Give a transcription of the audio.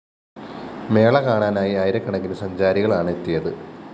മേള കാണാനായി ആയിരക്കണക്കിന് സഞ്ചാരികളാണ് എത്തിയത്